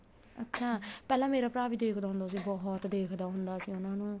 ਅੱਛਾ ਪਹਿਲਾਂ ਮੇਰਾ ਭਰਾ ਵੀ ਦੇਖਦਾ ਹੁੰਦਾ ਸੀ ਬਹੁਤ ਦੇਖਦਾ ਹੁੰਦਾ ਸੀ ਉਹਨਾ ਨੂੰ